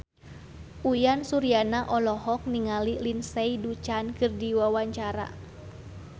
Uyan Suryana olohok ningali Lindsay Ducan keur diwawancara